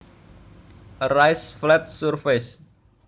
A raised flat surface